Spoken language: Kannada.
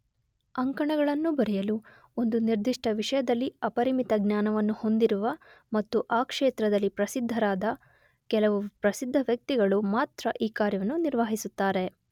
ಅಂಕಣಗಳನ್ನು ಬರೆಯಲು ಒಂದು ನಿರ್ದಿಷ್ಟ ವಿಷಯದಲ್ಲಿ ಅಪರಿಮಿತ ಜ್ನಾನವನ್ನು ಹೋಂದಿರುವ ಮತ್ತು ಆ ಕ್ಷೇತ್ರದಲ್ಲಿ ಪ್ರಸಿದ್ಧರಾದ ಕೆಲವು ಪ್ರಸಿದ್ಧ ವ್ಯಕ್ತಿಗಳು ಮಾತ್ರ ಈ ಕಾರ್ಯವನ್ನು ನಿರ್ವಾಹಿಸುತ್ತಾರೆ.